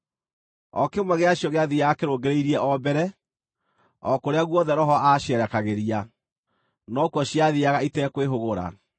O kĩmwe gĩa cio gĩathiiaga kĩrũngĩrĩirie o mbere. O kũrĩa guothe Roho aacierekagĩria, no kuo ciathiiaga itekwĩhũgũra.